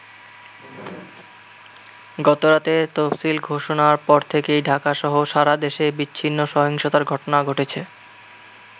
গতরাতে তফসিল ঘোষণার পর থেকেই ঢাকা-সহ সারা দেশে বিচ্ছিন্ন সহিংসতার ঘটনা ঘটেছে।